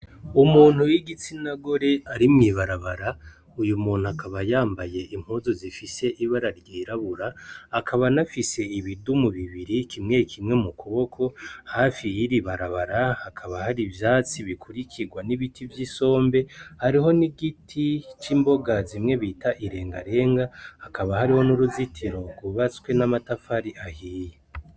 Umuntu w'igitsina gore ari mwibarabara uyu muntu akaba yambaye impuzu zifise ibara ryirabura akaba nafise ibidumu bibiri kimwe kimwe mu kuboko hafi yiribarabara hakaba hari ivyatsi bikurikirwa n'ibiti vy'isombe ariho ni igiti c'imboga zimwe bita irengarenga hakaba hariho n'uruzitiro rwubatswe n'amatafari ahiye.